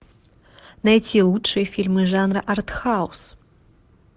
найти лучшие фильмы жанра артхаус